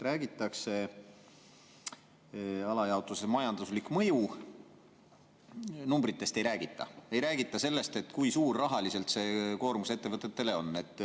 Majandusliku mõju alajaotuses numbritest ei räägita, ei räägita sellest, kui suur see koormus rahaliselt ettevõtetele on.